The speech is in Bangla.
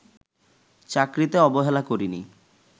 চাকরিতে অবহেলা করিনি